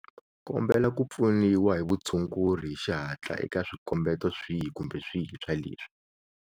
Kombela ku pfuniwa hi vutshunguri hi xihatla eka swikombeto swihi kumbe swihi swa leswi.